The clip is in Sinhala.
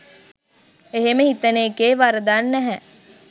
එහෙම හිතන එකේ වරදක් නැහැ